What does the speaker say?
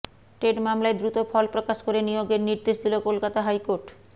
TET মামলায় দ্রুত ফলপ্রকাশ করে নিয়োগের নির্দেশ দিল কলকাতা হাইকোর্ট